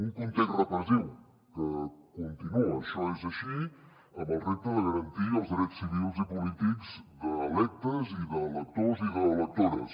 un context repressiu que continua això és així amb el repte de garantir els drets civils i polítics d’electes i d’electors i d’electores